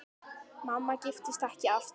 Mamma giftist ekki aftur.